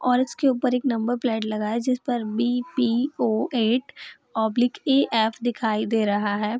और उसके ऊपर एक नंबर प्लेट लगा हुआ है जिसपर बी.पी.ओ. At oblique AF. दिखाई दे रहा है।